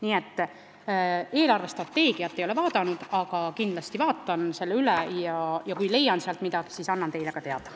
Nii et eelarvestrateegiat ei ole ma vaadanud, aga kindlasti vaatan selle üle ja kui sealt midagi leian, siis annan ka teile teada.